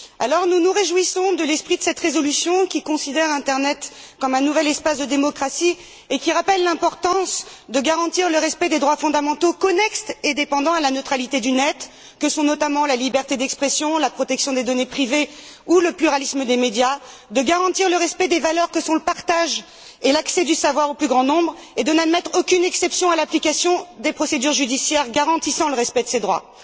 Alors, nous nous réjouissons de l'esprit de cette résolution, qui considère internet comme un nouvel espace de démocratie et qui rappelle l'importance de garantir le respect des droits fondamentaux connexes et dépendants à la neutralité du net, que sont notamment la liberté d'expression, la protection des données privées ou le pluralisme des médias, de garantir le respect des valeurs que sont le partage et l'accès du savoir au plus grand nombre et de n'admettre aucune exception à l'application des procédures judiciaires garantissant le respect de ces droits.